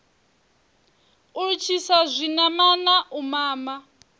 u litshisa zwinamana u mama